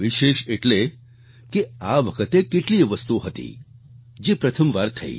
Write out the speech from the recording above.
વિશેષ એટલે કે આ વખતે કેટલીયે વસ્તુઓ હતી જે પ્રથમવાર થઈ